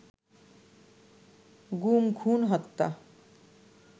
গুম, খুন, হত্যা